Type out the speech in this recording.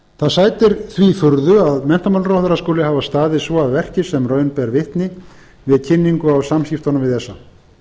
því furðu að menntamálaráðherra skuli hafa staðið svo að verki sem raun ber vitni við kynningu á samskiptunum við esa